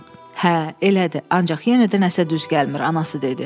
Hə, elədir, ancaq yenə də nəsə düz gəlmir anası dedi.